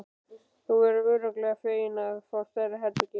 Þú verður örugglega feginn að fá stærra herbergi.